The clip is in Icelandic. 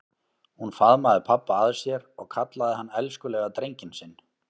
Hún faðmaði pabba að sér og kallaði hann elskulega drenginn sinn.